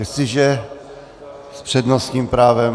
Jestliže s přednostním právem...